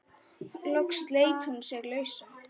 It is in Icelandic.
Loks sleit hún sig lausa.